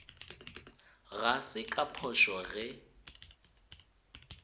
ga se ka phošo ge